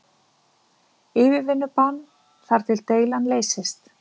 Yfirvinnubann þar til deilan leysist